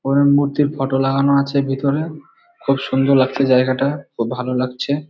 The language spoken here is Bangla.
ফরেন মূর্তির ফটো লাগানো আছে ভিতরে খুব সুন্দর লাগছে জায়গাটা। খুব ভাল লাগছে।